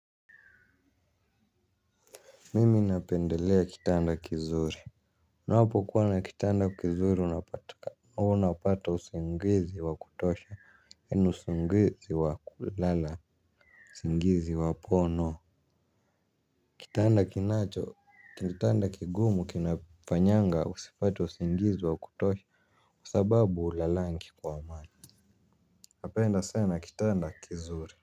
Mimi napendelea kitanda kizuri. Unapokuwa na kitanda kizuri unapata usingizi wakutosha yani usingizi wakulala. Singizi wapono. Kitanda kinacho kitanda kigumu kinafanyanga usipate usingizi wakutosha kwa sababu ulalangi kwa amani. Napenda sana kitanda kizuri.